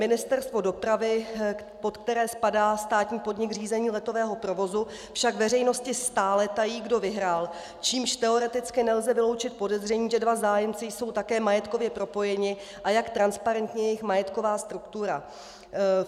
Ministerstvo dopravy, pod které spadá státní podnik Řízení letového provozu, však veřejnosti stále tají, kdo vyhrál, čímž teoreticky nelze vyloučit podezření, že dva zájemci jsou také majetkově propojeni a jak transparentní je jejich majetková struktura.